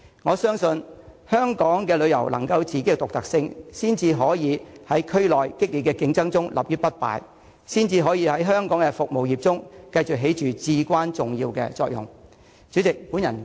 我相信，香港的旅遊能夠有自己的獨特性，才可以在區內的激烈競爭中立於不敗，才可以在香港的服務業中繼續發揮至關重要的作用。